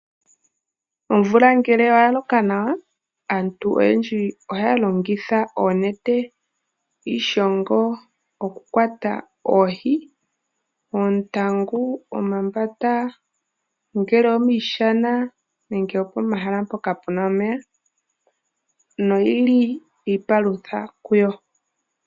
Omvula ngele oya loka nawa aantu oyendji ohaya longitha oonete, iishongo oku kwata oohi ,oontangu, omankende . Ongele omiishana nenge pomahala mpoka puna omeya nodhili iipalutha kuyo.